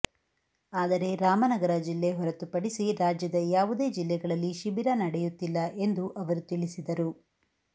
ಆದರೆ ರಾಮನಗರ ಜಿಲ್ಲೆ ಹೊರತು ಪಡಿಸಿ ರಾಜ್ಯದ ಯಾವುದೇ ಜಿಲ್ಲೆಗಳಲ್ಲಿ ಶಿಬಿರ ನಡೆಯುತ್ತಿಲ್ಲ ಎಂದು ಅವರು ತಿಳಿಸಿದರು